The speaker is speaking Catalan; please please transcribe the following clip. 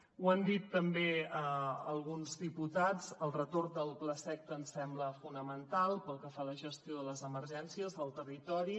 ho han dit també alguns diputats el retorn del plaseqta ens sembla fonamental pel que fa a la gestió de les emergències al territori